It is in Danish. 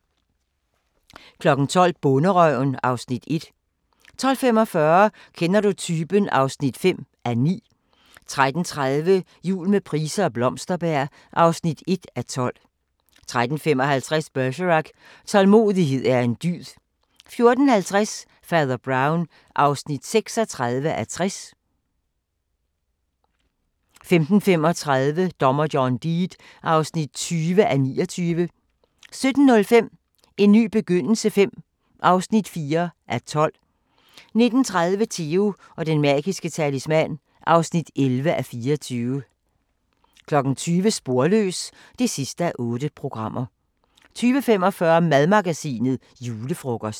12:00: Bonderøven (Afs. 1) 12:45: Kender du typen? (5:9) 13:30: Jul med Price og Blomsterberg (1:12) 13:55: Bergerac: Tålmodighed er en dyd 14:50: Fader Brown (36:60) 15:35: Dommer John Deed (20:29) 17:05: En ny begyndelse V (4:12) 19:30: Theo & den magiske talisman (11:24) 20:00: Sporløs (8:8) 20:45: Madmagasinet: Julefrokost